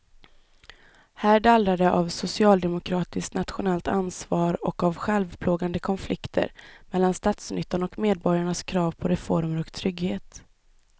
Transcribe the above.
Här dallrar det av socialdemokratiskt nationellt ansvar och av självplågande konflikter mellan statsnyttan och medborgarnas krav på reformer och trygghet.